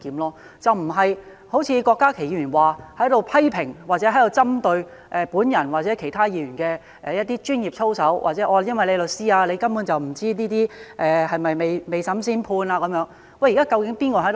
而不是像郭家麒議員，批評或針對我或其他議員的專業操守，或說因為我是律師，根本就不知道這些是否未審先判等。